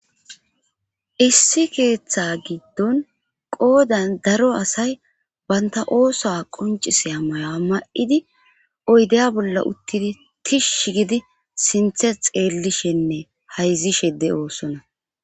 Issi keeththa giddon qoodan daro asay baynta ooso qoncise a may ma7idi oydeya bolla uttidi tishsh gidi sinthe xeellishenne hayzishede oosona.